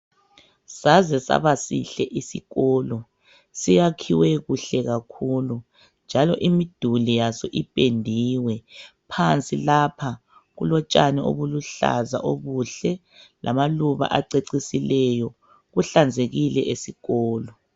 Saze saba sihle isikolo, siyakhiwe kuhle kakhulu njalo imiduli yaso ipendiwe. Phansi lapha kulotshani obuluhlaza obuhle lamaluba acecisileyo, kuhlanzekile esikolo.